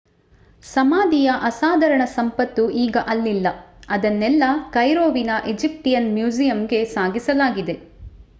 ಸಮಾಧಿಯ ಅಸಾಧಾರಣ ಸಂಪತ್ತು ಈಗ ಅಲ್ಲಿಲ್ಲ ಅದನ್ನೆಲ್ಲಾ ಕೈರೋವಿನ ಈಜಿಪ್ಟಿಯನ್ ಮ್ಯೂಜಿಯಂಗೆ ಸಾಗಿಸಲಾಗಿದೆ